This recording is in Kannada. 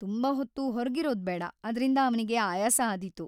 ತುಂಬಾ ಹೊತ್ತು ಹೊರ್ಗಿರೋದ್‌ ಬೇಡ‌, ಅದ್ರಿಂದ ಅವ್ನಿಗೆ ಆಯಾಸ ಆದೀತು.